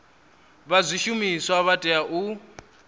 vha zwishumiswa vha tea u